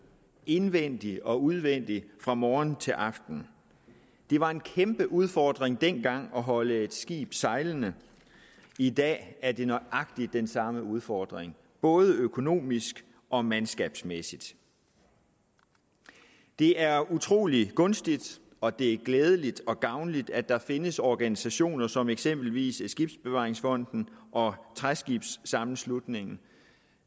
indvendigt og udvendigt fra morgen til aften det var en kæmpe udfordring dengang at holde et skib sejlende i dag er det nøjagtig den samme udfordring både økonomisk og mandskabsmæssigt det er utrolig gunstigt og det er glædeligt og gavnligt at der findes organisationer som eksempelvis skibsbevaringsfonden og træskibs sammenslutningen